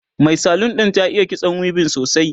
Mai salon ɗin ta iya kitso weaving sosai